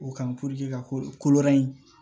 O kan ka ko ko wɛrɛ ɲi